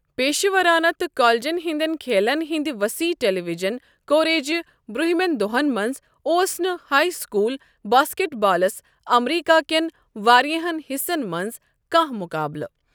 پیشورانہٕ تہٕ كالجن ہندین كھیلن ہندِ وصیح ٹیلیوِجن كوریجہِ برٗونہمین دوہن منز ، اوس نہٕ ہاے سكوٗل باسكیٹ بالس امریكا كین وارِیاہن حصن منز كانہہ مُقابلہٕ ۔